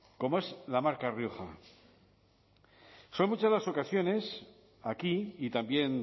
como es la marca rioja son muchas las ocasiones aquí y también